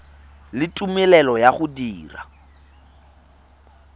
le tumelelo ya go dira